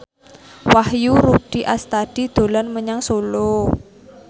Wahyu Rudi Astadi dolan menyang Solo